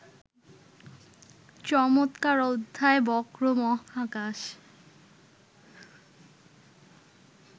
চমৎকার অধ্যায় বক্র মহাকাশ